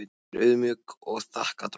Ég er auðmjúk og þakka drottni.